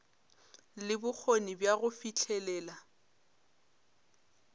le bokgoni bja go fihlelela